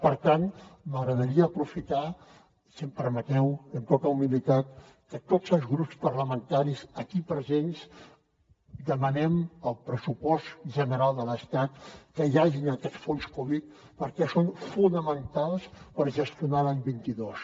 per tant m’agradaria aprofitar si m’ho permeteu amb tota humilitat que tots els grups parlamentaris aquí presents demanem al pressupost general de l’estat que hi hagi aquests fons covid perquè són fonamentals per gestionar l’any vint dos